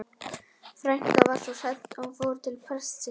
Frænkan var svo hrædd að hún fór til prestsins.